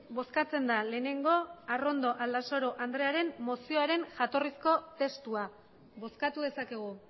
bozkatzen da lehenengo arrondo aldasoro andrearen mozioaren jatorrizko testua bozkatu dezakegu